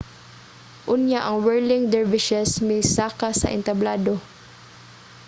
unya ang whirling dervishes misaka sa entablado